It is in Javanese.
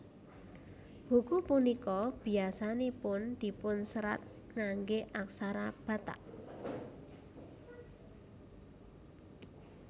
Buku punika biasanipun dipunserat ngangge aksara Batak